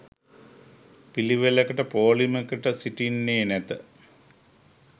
පිළිවෙළකට පෝලිමකට සිටින්නේ නැත